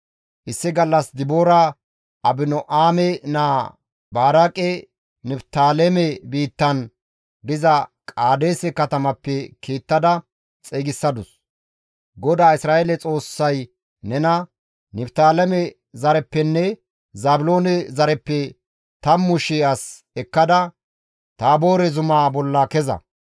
Issi gallas Diboora Abino7aame naa Baraaqe Niftaaleme biittan diza Qaadeese katamappe kiittada xeygisadus; «GODAA Isra7eele Xoossay nena, ‹Niftaaleme zareppenne Zaabiloone zareppe tammu shii as ekkada Taaboore zumaa bolla keza.